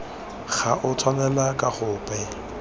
go a tshwanela ka gope